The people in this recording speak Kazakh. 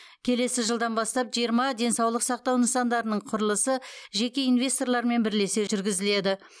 келесі жылдан бастап жиырма денсаулық сақтау нысандарының құрылысы жеке инвесторлармен бірлесе жүргізіледі